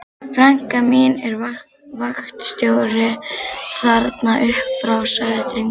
Frænka mín er vaktstjóri þarna upp frá, sagði drengurinn.